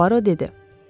Poaro dedi.